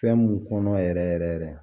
Fɛn mun kɔnɔ yɛrɛ yɛrɛ yɛrɛ